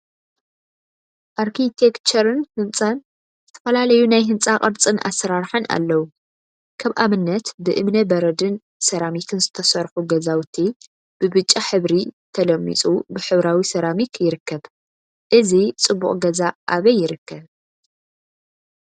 አርኪቴክቸርን ህፃን ዝተፈላለዩ ናይ ህንፃ ቅርፂን አሰራርሓን አለው፡፡ ከም አብነት ብእምነ በረድን ሰራሚክን ዝተሰርሑ ገዛውቲ ብብጫ ሕብሪ ተለሚፁ ሕብራዊ ሰራሚክ ይርከብ፡፡ እዚ ፅቡቅ ገዛ አበይ ይርከብ?